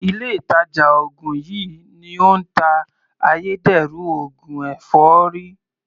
Ilé ìtàjà ògùn yìí ni ó ń ta ayédèrú oògùn èfọ́rí.